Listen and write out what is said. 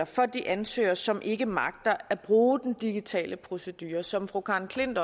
for de ansøgere som ikke magter at bruge den digitale procedure som fru karen klint